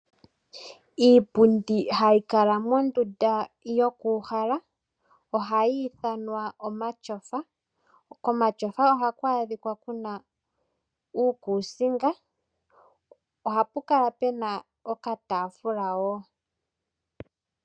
Iipundi hayikala mondunda yokuuhala ohayiithanwa omatyofa ,komatyofa ohaku adhikwa kuna iikuusinga ohapukala puna okataafula wo.